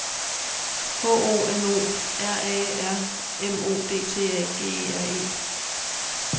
H O N O R A R M O D T A G E R E